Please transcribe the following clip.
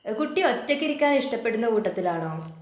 കുട്ടി ഒറ്റക്കിരിക്കാൻ ഇഷ്ടപ്പെടുന്ന കൂട്ടത്തിലാണോ?